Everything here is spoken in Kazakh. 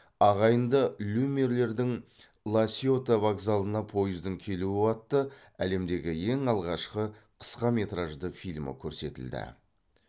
ағайынды люмьерлердің ла сьота вокзалына пойыздың келуі атты әлемдегі ең алғашқы қысқаметражды фильмі көрсетілді